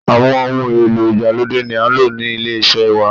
Àwọn ohun èlò ìgbàlódé ni à ń lò ní ilé iṣẹ́ wa.